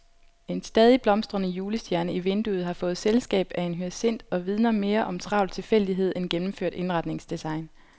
En stadig blomstrende julestjerne i vinduet har fået selskab af en hyacint og vidner mere om travl tilfældighed end gennemført indretningsdesign.